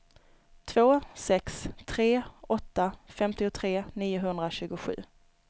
två sex tre åtta femtiotre niohundratjugosju